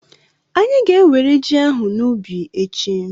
Anyị ga-enwere ji ahụ n'ubi echi.